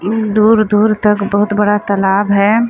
अम्म दूर-दूर तक बहुत बड़ा तालाब है।